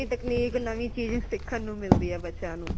ਨਵੀ technique ਨਵੀ ਚੀਜ਼ ਸਿੱਖਣ ਨੂ ਮਿਲਦੀ ਹੈ ਬੱਚਿਆਂ ਨੂ